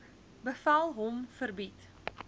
bevel hom verbied